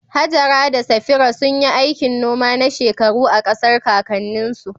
Hajara da Safira sun yi aikin noma na shekaru a ƙasar kakanninsu.